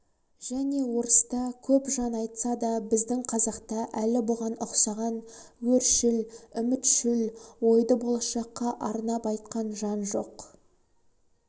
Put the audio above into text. және орыста көп жан айтса да біздің қазақта әлі бұған ұқсаған өршіл-үмітшіл ойды болашаққа арнап айтқан жан жоқ